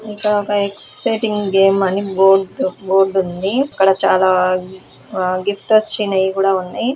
ఇక్కడ ఒక expecting game అని బోర్డు బోర్డు ఉంది ఇక్కడ చాలా గిఫ్ట్ వచ్చినయి కూడా ఉన్నాయి.